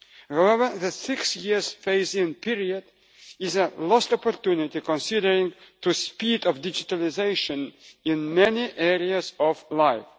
However, the six year phase in period is a lost opportunity considering the speed of digitalisation in many areas of life.